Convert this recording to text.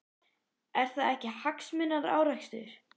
Er það ekki hagsmunaárekstur?